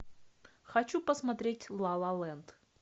хочу посмотреть ла ла ленд